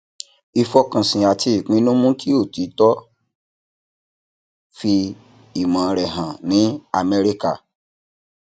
ìfọkànsìn àti ìpinnu mú kí otiko fi ìmọ rẹ hàn ní amẹríkà